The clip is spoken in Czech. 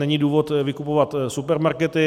Není důvod vykupovat supermarkety.